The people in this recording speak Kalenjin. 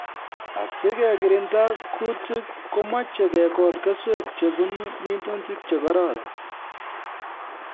Asikekirinda kuutik komeche kekol keswek chebunu minutik che kororon